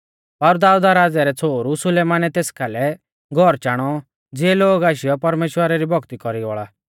पर दाऊद राज़ै रै छ़ोहरु सुलेमानै तेस कालै घौर चाणौ ज़िऐ लोग आशीयौ परमेश्‍वरा री भौक्ती कौरी बौल़ा